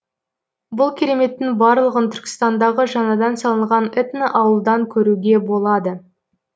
бұл кереметтің барлығын түркістандағы жаңадан салынған этноауылдан көруге болады